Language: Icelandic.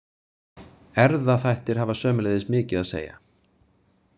Erfðaþættir hafa sömuleiðis mikið að segja.